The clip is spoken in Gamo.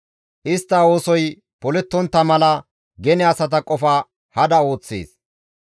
Istta oosoy polettontta mala gene asata qofa hada ooththees.